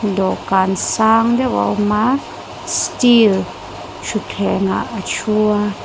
dawhkan sang deuh a awm a steel thutthlengah a thu a.